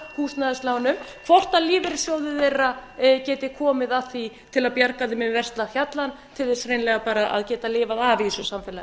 húsnæðislánum hvort lífeyrissjóðir þeirra geti komið að því til að bjarga þeim yfir versta hjallann til þess hreinlega bara að geta lifað í þessu samfélagi